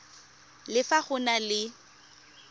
le fa go na le